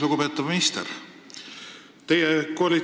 Lugupeetav minister!